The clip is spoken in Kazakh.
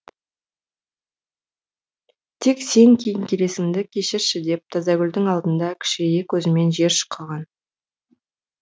тек сен кеңкелесіңді кешірші деп тазагүлдің алдында кішірейе көзімен жер шұқыған